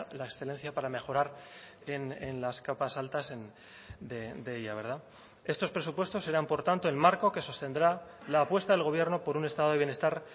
la excelencia para mejorar en las capas altas de ella verdad estos presupuestos serán por tanto el marco que sostendrá la apuesta del gobierno por un estado de bienestar